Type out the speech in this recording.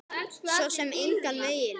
Svo sem engan veginn